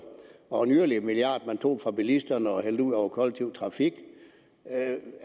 og yderligere en milliard man tog fra bilisterne og hældte ud over den kollektive trafik